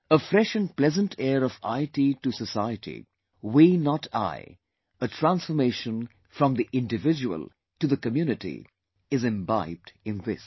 A fresh and pleasant air of IT to society, Wenot I, a transformation from the individual to the community is imbibed in this